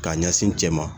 K'a ɲɛsin n cɛ ma